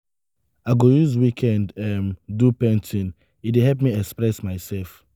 i go use weekend um do painting; e dey help me express myself.